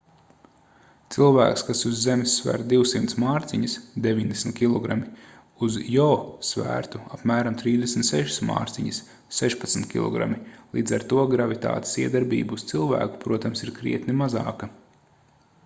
cilvēks kas uz zemes sver 200 mārciņas 90 kg uz jo svērtu apmēram 36 mārciņas 16 kg. līdz ar to gravitātes iedarbība uz cilvēku protams ir krietni mazāka